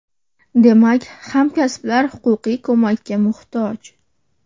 Demak, hamkasblar huquqiy ko‘makka muhtoj.